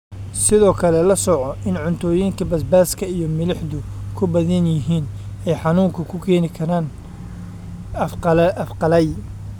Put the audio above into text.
Sidoo kale, la soco in cuntooyinka basbaaska iyo milixdu ku badan yihiin ay xanuunka ku keeni karaan af qallayl.